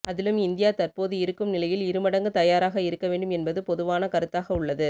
அதிலும் இந்தியா தற்போது இருக்கும் நிலையில் இருமடங்கு தயாராக இருக்க வேண்டும் என்பது பொதுவான கருத்தாக உள்ளது